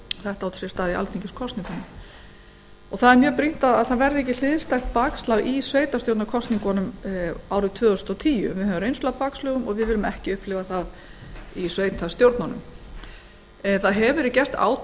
þetta gerðist í alþingiskosningunum og er mjög brýnt að ekki verði hliðstætt bakslag í sveitarstjórnarkosningunum árið tvö þúsund og tíu við höfum reynslu af bakslögum og við viljum ekki upplifa þau í sveitarstjórnunum gert hefur verið átak á